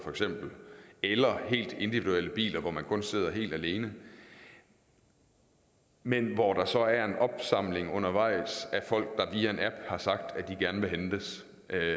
eller helt individuelle biler hvor man kun sidder helt alene men hvor der så er en opsamling undervejs af folk der via en app har sagt at de gerne vil hentes